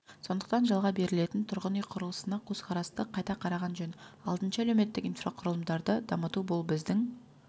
сондықтан жалға берілетін тұрғын үй құрылысына көзқарасты қайта қараған жөн алтыншы әлеуметтік инфрақұрылымдарды дамыту бұл біздің